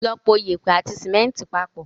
Lọ po yèèpẹ̀ àti símẹ́ńtì papọ̀.